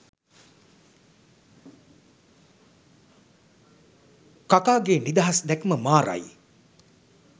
කකා ගේ නිදහස් දැක්ම මාරයි.